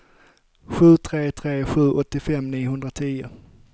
sju tre tre sju åttiofem niohundratio